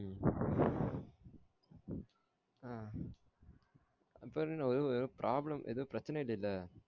உம் ஆஹ் அப்பரோ என்ன எதோ problem பிரச்சனை இல்லைல